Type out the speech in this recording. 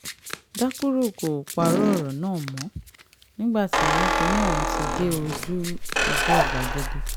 dákúrò kò parọ́ ọ̀rọ̀ náà mọ́ nígbà tí kinní ọ̀hún ti dé ojú ọ̀gbagadè